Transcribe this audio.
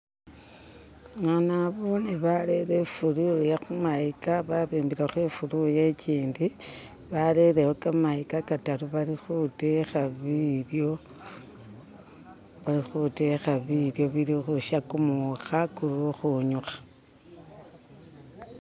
eha naboone barele ifuluya khu mayikha babimbilekho ifuluya kyindi barelewo khamayikha khataru balikhutekha bilyo balikhutekha bilyo bilikhusha khumukha khulukhunyukha